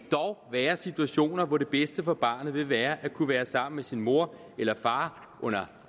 være situationer hvor det bedste for barnet vil være at kunne være sammen med sin mor eller far under